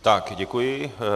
Tak děkuji.